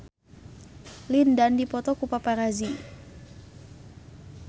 Lin Dan dipoto ku paparazi